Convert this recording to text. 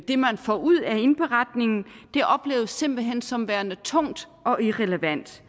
det man får ud af indberetningen det opleves simpelt hen som værende tungt og irrelevant